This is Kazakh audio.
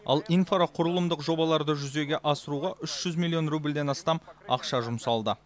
ал инфрақұрылымдық жобаларды жүзеге асыруға үш жүз миллион рубльден астам ақша жұмсалды